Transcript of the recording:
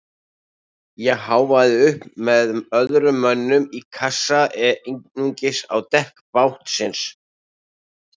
Ég háfaði upp með öðrum mönnum í kassa eða einungis á dekk bátsins.